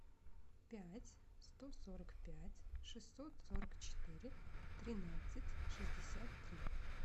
пять сто сорок пять шестьсот сорок четыре тринадцать шестьдесят три